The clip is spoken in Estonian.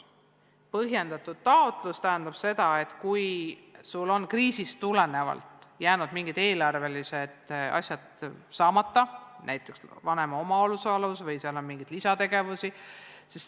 Põhjendatud taotlus tähendab seda, et sul on kriisist tulenevalt jäänud mingisugused eelarvelised asjad saamata, näiteks vanema omaosalus või mingisuguste lisategevustega seonduv.